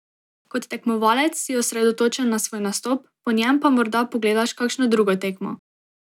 Kot tekmovalec si osredotočen na svoj nastop, po njem pa morda pogledaš kakšno drugo tekmo.